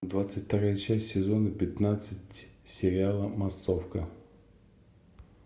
двадцать вторая часть сезона пятнадцать сериала массовка